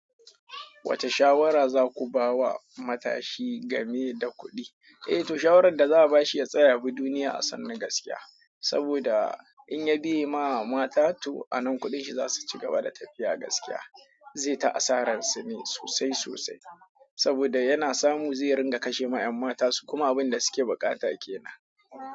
Wace shawara za ku ba wa matashi game da kuɗi? Eh to shawaran da za'abashi ya tsaya yabi duniya a sannu gaskiya. Saboda in ya biye ma mata toh anan kuɗin shi za su ci gaba da tafiya gaskiya. Zai ta asaran sune sosai sosai. Saboda yana samu zai ringa kashe ma 'yan mata su kuma abin da su ke bukata ke nan.